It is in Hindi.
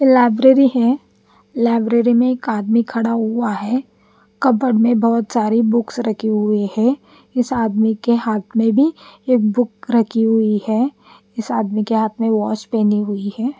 लाइब्ररी है लाइब्ररी में एक आदमी खड़ा हुआ है कबट में बहोत सारी बुक्स रखी हुई है इस आदमी के हाथ में भी एक बुक्स रखी हुई है इस आदमी के हाथ में वोच पेनी हुई है।